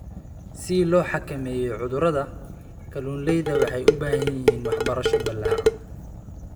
Si loo xakameeyo cudurrada, kalunleydha waxay u baahan yihiin waxbarasho ballaaran.